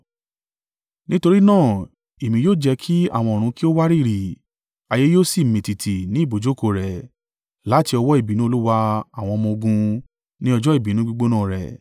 Nítorí náà èmi yóò jẹ́ kí àwọn ọ̀run kí ó wárìrì; ayé yóò sì mì tìtì ní ibùjókòó rẹ̀ láti ọwọ́ ìbínú Olúwa àwọn ọmọ-ogun, ní ọjọ́ ìbínú gbígbóná rẹ.